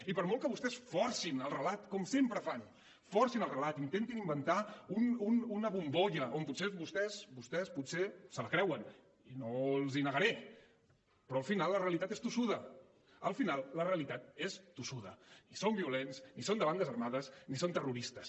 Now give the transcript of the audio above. i per molt que vostès forcin el relat com sempre fan forcin el relat intentin inventar una bombolla que potser vostès vostès potser se la creuen i no els hi negaré però al final la realitat és tossuda al final la realitat és tossuda ni són violents ni són de bandes armades ni són terroristes